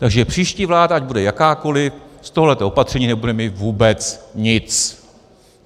Takže příští vláda, ať bude jakákoliv, z tohoto opatření nebude mít vůbec nic.